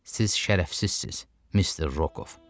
Siz şərəfsizsiniz, Mister Rokov.